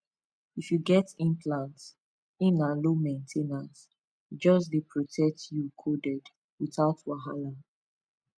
if you get implant e na low main ten ance e just dey protect you coded without wahala